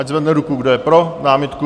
Ať zvedne ruku, kdo je pro námitku.